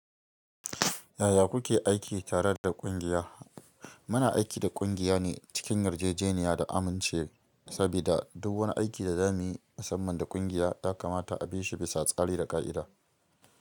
Yaya kuke aiki tare da ƙungiya? Muna aiki da kungiya ne cikin yarjejeniya da amince, sabida duk wani aiki da za mu yi musamman da ƙungiya ya kamata a bi shi bisa tsari da ƙa’ida.